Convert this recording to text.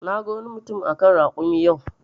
Na gan wani mutum a kan rakumi yau.